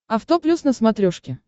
авто плюс на смотрешке